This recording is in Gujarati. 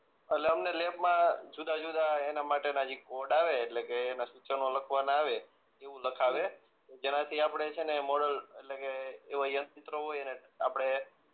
એટલે અમને લેબ માં જુદાજુદા એના માટે ના જી કોડ આવે એટલે કે એના સૂચનો લખવાના આવે એવું લખાવે જેનાથી આપણે છે ને મોડલ એટલે કે એવા યનચિત્રો હોય એને આપણે